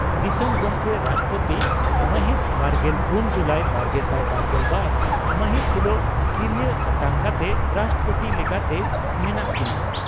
ᱫᱤᱥᱚᱢ ᱜᱚᱢᱠᱮ (ᱨᱟᱥᱴᱨᱚᱯᱳᱛᱤ) ᱺ ᱢᱟᱦᱤᱛ ᱵᱟᱨᱜᱮᱞ ᱯᱩᱱ ᱡᱩᱞᱟᱭ ᱵᱟᱨᱜᱮᱥᱟᱭ ᱵᱟᱨᱜᱮᱞ ᱵᱟᱨ ᱢᱟᱦᱤᱛ ᱦᱤᱞᱚᱜ ᱠᱤᱨᱤᱭᱟᱹ ᱟᱛᱟᱝ ᱠᱟᱛᱮ ᱨᱟᱥᱴᱨᱚᱯᱳᱛᱤ ᱞᱮᱠᱟᱛᱮ ᱢᱮᱱᱟᱜ ᱠᱤᱱᱟ ᱾